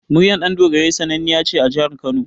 Muryar Ɗandogarai sannaniya ce a Jihar Kano.